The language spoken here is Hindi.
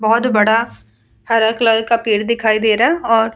बहुत बड़ा हरा कलर का पेड़ दिखाई दे रहा और --